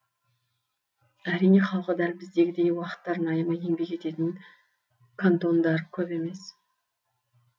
әрине халқы дәл біздегідей уақыттарын аямай еңбек ететін кантондар көп емес